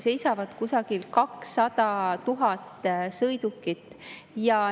Seisab kusagil 200 000 sõidukit.